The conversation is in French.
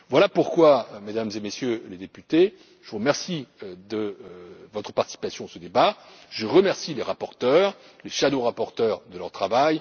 Voilà pourquoi, Mesdames et Messieurs les députés, je vous remercie de votre participation à ce débat, je remercie les rapporteurs et les rapporteurs fictifs de leur